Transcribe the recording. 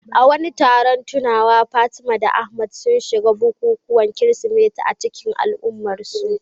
A wani taron tunawa, Fatima da Ahmad sun shiga bukukuwan Kirsimeti a cikin al'ummarsu.